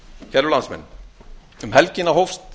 kæru landsmenn um helgina hófust